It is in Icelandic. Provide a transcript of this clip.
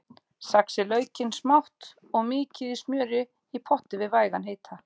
Saxið laukinn smátt og mýkið í smjöri í potti við vægan hita.